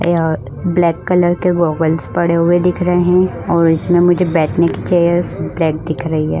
यहा black colour के goggles पड़े हुए दिख रहे है और इसमें मुझे बैठने की चेयर्स ब्लैक दिख रही है।